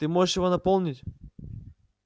ты можешь его наполнить